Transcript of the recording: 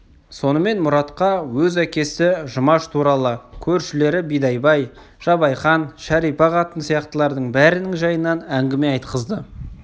сонымен мұратқа өз әкесі жұмаш туралы көршілері бидайбай жабайқан шәрипа қатын сияқтылардың бәрінің жайынан әңгіме айтқызды